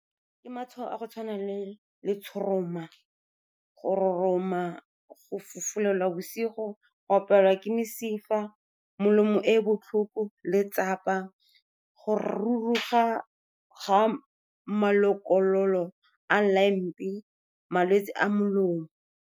Ke matshwao a go tshwana le letshoroma, go roroma, go fufulelwa bosigo, go opelwa ke mesifa, melomo e botlhoko, letsapa, go ruruga ga malokololo a , malwetse a molomo.